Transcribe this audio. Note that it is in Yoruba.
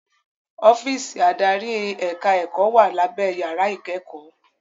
Ọ́físì adarí ẹ̀ka ẹ̀kọ́ wà lábé yàrá ìkẹ́kọ̀ọ́.